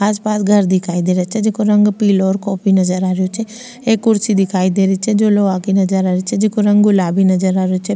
आस पास घर दिखाई देरो छे जेको रंग पिलो और कॉफी नजर आ रेहो छे एक कुर्सी दिखाई दे री छे जो लोहा की नजर आ री छे जेको रंग गुलाबी नजर आ रेहो छे।